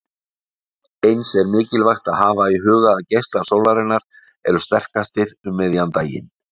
Eins er mikilvægt að hafa í huga að geislar sólarinnar eru sterkastir um miðjan daginn.